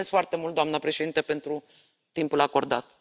Mulțumesc foarte mult, doamnă președintă, pentru timpul acordat.